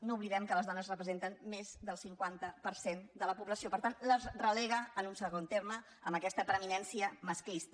no oblidem que les dones representen més del cinquanta per cent de la població per tant les relega a un segon terme amb aquesta preeminència masclista